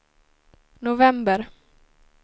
november